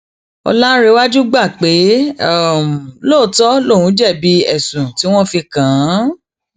ọlárẹwájú gbà pé lóòótọ lòun jẹbi ẹsùn tí wọn fi kàn án